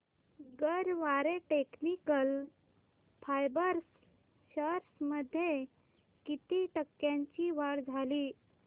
Garware technical fibres shares मध्ये किती टक्क्यांची वाढ झाली